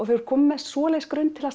þú ert komin með svoleiðis grunn til